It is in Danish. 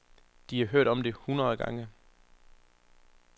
De har hørt om det hundrede gange.